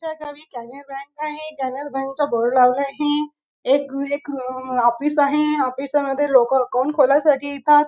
त्याच्या गावी ग्रामीण बँक आहे ग्रामीण बँक चा बोर्ड लावला आहे एक रु एक ऑफिस आहेऑफिसामध्ये लोक अकाउंट खोलायसाठी येतात.